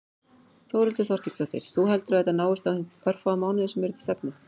Þórhildur Þorkelsdóttir: Þú heldur að þetta náist á þeim örfáu mánuðum sem eru til stefnu?